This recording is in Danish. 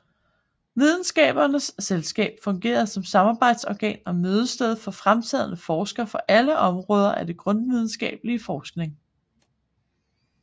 Videnskabernes Selskab fungerer som samarbejdsorgan og mødested for fremtrædende forskere fra alle områder af grundvidenskabelig forskning